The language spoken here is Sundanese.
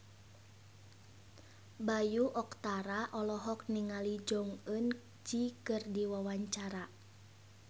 Bayu Octara olohok ningali Jong Eun Ji keur diwawancara